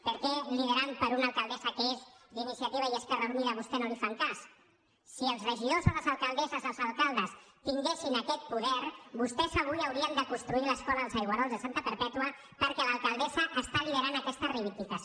per què liderat per una alcaldessa que és d’iniciativa i esquerra unida vostès no li fan cas si els regidors o les alcaldesses els alcaldes tinguessin aquest poder vostès avui haurien de construir l’escola els aigüerols de santa perpètua perquè l’alcaldessa lidera aquesta reivindicació